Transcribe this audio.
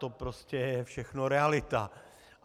To prostě je všechno realita.